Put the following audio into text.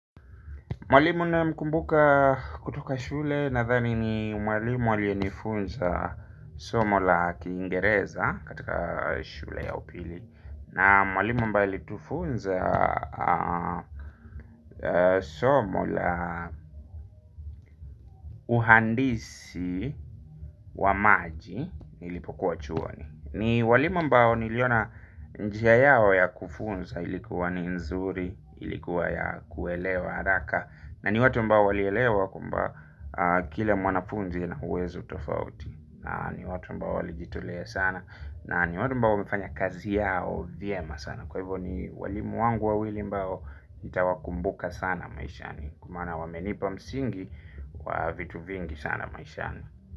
Mwalimu naye mkumbuka kutoka shule nadhani ni mwalimu alienifunza somo la kingereza katika shule ya upili. Na mwalimu ambaye alitufunza somo la uhandisi wa maji ilipokuwa chuoni. Ni walimu ambao niliona njia yao ya kufunza ilikuwa ni nzuri, ilikuwa ya kuelewa haraka. Na ni watu mbao walielewa kwamba kila mwanafunzi ana uwezo tofauti. Na ni watu ambao walijitolea sana. Na ni watu ambao wamefanya kazi yao viema sana. Kwa hivyo ni walimu wangu wawili ambao nitawa kumbuka sana maishani. Kwa maana wamenipa msingi wa vitu vingi sana maishani.